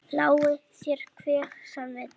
Lái þér hver sem vill.